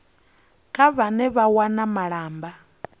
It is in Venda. kha vhane vha wana malamba